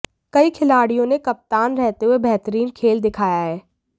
कई खिलाड़ियों ने कप्तान रहते हुए बेहतरीन खेल दिखाया है